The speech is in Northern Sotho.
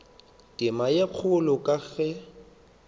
tema ye kgolo ka ge